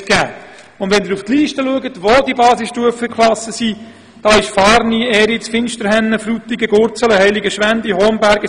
Auf der Liste der Gemeinden, die Basisstufen führen, finden Sie etwa Fahrni, Eriz, Finsterhennen, Frutigen, Gurzelen, Heiligenschwendi, Homberg, La Neuveville, Bern oder Münsingen.